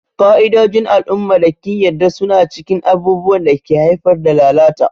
Ƙa'idojin al'umma da ƙin yarda suna cikin abubuwan da ke haifar da lalata.